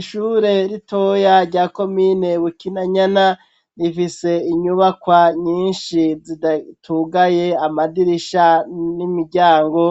Ishure ritoya rya komine Bukinanyana rifise inyubakwa nyinshi zitugaye amadirisha n'imiryango,